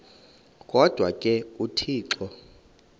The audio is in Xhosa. kodwa ke uthixo